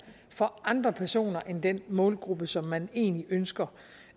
for andre personer end den målgruppe som man egentlig ønsker